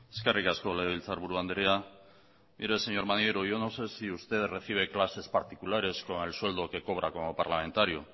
eskerrik asko legebiltzarburu andrea mire señor maneiro yo no sé si usted recibe clases particulares con el sueldo que cobra como parlamentario